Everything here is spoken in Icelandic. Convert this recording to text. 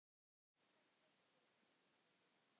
Besta kryddið í lífi þínu.